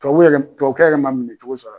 Tubabu yɛrɛ tubabu kɛ yɛrɛ ma minɛ cogo sara.